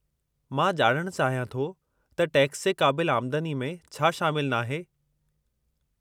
मां ॼाणणु चाहियां थो त टैक्स जे क़ाबिलु आमदनी में छा शामिलु नाहे?